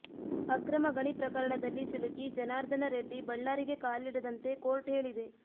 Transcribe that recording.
ಅಕ್ರಮ ಗಣಿ ಪ್ರಕರಣದಲ್ಲಿ ಸಿಲುಕಿ ಜನಾರ್ದನ ರೆಡ್ಡಿ ಬಳ್ಳಾರಿಗೆ ಕಾಲಿಡದಂತೆ ಕೋರ್ಟ್ ಹೇಳಿದೆ